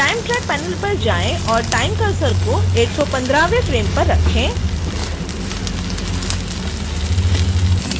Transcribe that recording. time track panel पर जाएं और time cursor को 115वें फ्रेम पर रखें